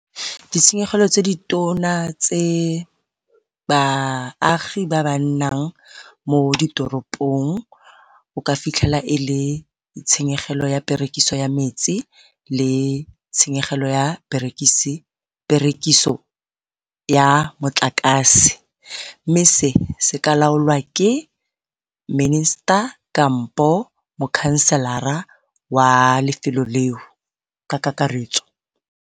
Ditshenyegelo tse di tona tse baagi ba ba nnang mo ditoropong o ka fitlhela e le tshenyegelo ya perekiso ya metsi, le tshenyegelo ya perekiso ya motlakase. Mme se se ka laolwa ke minister kampo mokhanselara wa lefelo leo ka kakaretso.